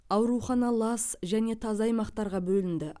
аурухана лас және таза аймақтарға бөлінді